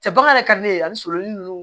Cɛ bakan yɛrɛ ka di ne ye ani surun ninnu